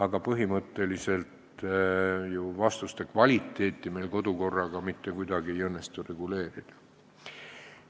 Aga põhimõtteliselt ei õnnestu meil ju vastuste kvaliteeti kodukorraga mitte kuidagi reguleerida.